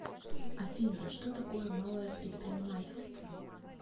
афина что такое малое предпринимательство